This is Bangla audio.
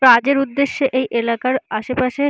কাজের উদ্দেশ্যে এই এলাকার আশে পাশে--